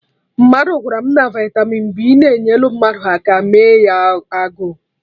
Mmadụ gwara m na vitamin B na-enyelụ mmadụ aka mee ya agụụ